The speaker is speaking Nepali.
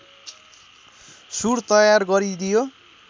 सुर तयार गरिदियो